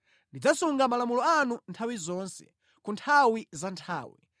Ndidzasunga malamulo anu nthawi zonse, ku nthawi za nthawi.